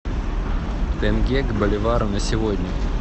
тенге к боливару на сегодня